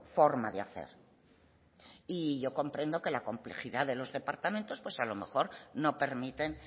forma de hacer y yo comprendo que la complejidad de los departamentos pues a lo mejor no permiten